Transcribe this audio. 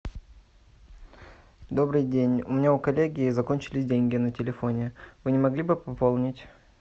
добрый день у меня у коллеги закончились деньги на телефоне вы не могли бы пополнить